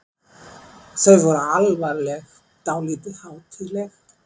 Þau voru alvarleg, dálítið hátíðleg.